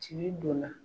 Ci donna